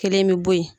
Kelen bi bɔ yen